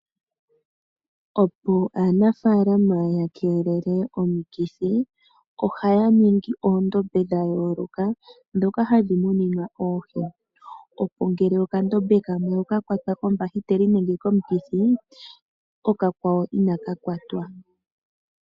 Opo aanafalama ya keelele omikithi ohaya ningi oondombe dha yooloka ndhoka hadhi muninwa oohi opo ngele okandombe kamwe okakwatwa kombahiteli nenge komukithi okakwawo ina ka kwatwa.